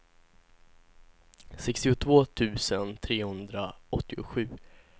sextiotvå tusen trehundraåttiosju